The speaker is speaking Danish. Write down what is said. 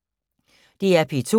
DR P2